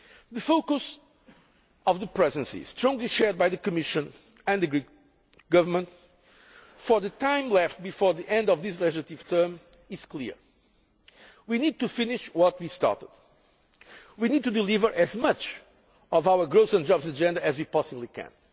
The focus of the Presidency, strongly shared by the Commission and the Greek Government, for the time left before the end of this legislative term is clear we need to finish what we started and to deliver as much of our growth and jobs agenda as we possibly can.